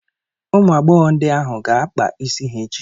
Ụmụ agbọghọ ndị ahụ ga-akpa isi ha echi.